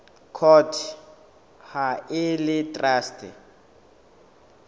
court ha e le traste